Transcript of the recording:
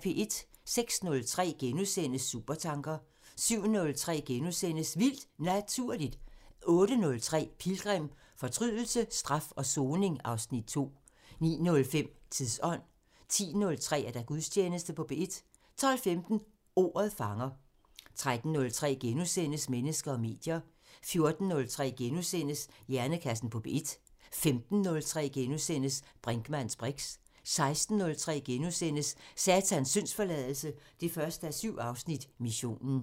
06:03: Supertanker * 07:03: Vildt Naturligt * 08:03: Pilgrim – Forbrydelse, straf og soning (Afs. 2) 09:05: Tidsånd 10:03: Gudstjeneste på P1 12:15: Ordet fanger 13:03: Mennesker og medier * 14:03: Hjernekassen på P1 * 15:03: Brinkmanns briks * 16:03: Satans syndsforladelse 1:7 – Missionen *